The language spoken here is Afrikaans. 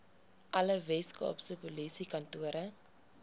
alle weskaapse polisiekantore